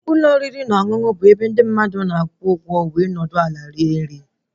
Ụlọ oriri na ọṅụṅụ bụ ebe ndị mmadụ na-akwụ ụgwọ wee nọdụ ala rie nri